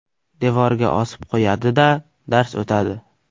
Devorga osib qo‘yadi-da dars o‘tadi.